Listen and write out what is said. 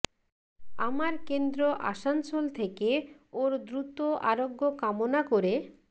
আমার কেন্দ্র আসানসোল থেকে ওঁর দ্রুত আরোগ্য কামনা করে